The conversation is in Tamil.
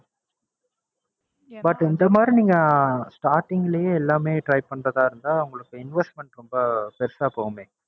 but இந்த மாறி நீங்க start ங்கிலியே எல்லாமே try பண்றதாதிருந்தா உங்களுக்கு investment ரொம்ப பெரிசா போகுமே.